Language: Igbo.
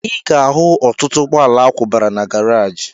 Ị ga-ahụ ọtụtụ ụgbọala akwụbara na garaji